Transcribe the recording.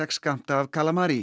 skammta af